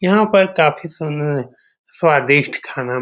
यहाँ पर काफी सुन्द-स्वादिष्ट खाना --